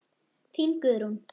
Þín, Guðrún.